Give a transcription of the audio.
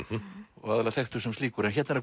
og aðallega þekktur sem slíkur hérna er